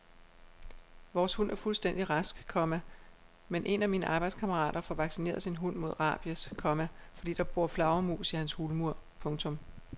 Vores hund er fuldstændig rask, komma men en af mine arbejdskammerater får vaccineret sin hund mod rabies, komma fordi der bor flagermus i hans hulmur. punktum